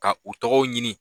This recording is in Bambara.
Ka u tɔgɔw ɲini